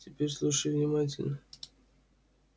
теперь слушай внимательно